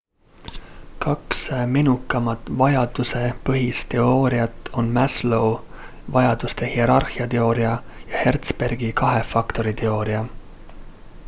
kaks menukamat vajadusepõhist teooriat on maslow' vajaduste hierarhia teooria ja herzbergi kahe faktori teooria